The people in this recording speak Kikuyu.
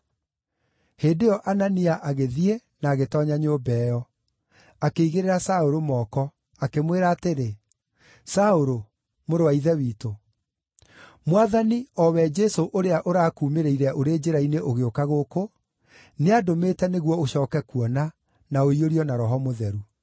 Hĩndĩ ĩyo Anania agĩthiĩ na agĩtoonya nyũmba ĩyo. Akĩigĩrĩra Saũlũ moko, akĩmwĩra atĩrĩ, “Saũlũ, mũrũ wa Ithe witũ, Mwathani, o we Jesũ ũrĩa ũrakuumĩrĩire ũrĩ njĩra-inĩ ũgĩũka gũkũ, nĩandũmĩte nĩguo ũcooke kuona, na ũiyũrio na Roho Mũtheru.”